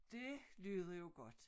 Dét lyder jo godt